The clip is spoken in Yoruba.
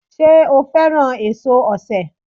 Sé o fẹ́ràn èso osè